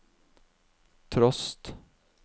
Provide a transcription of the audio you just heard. trost